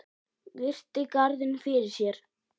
Virti garðinn fyrir sér.